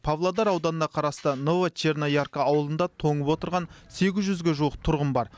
павлодар ауданына қарасты новочерноярка ауылында тоңып отырған сегіз жүзге жуық тұрғын бар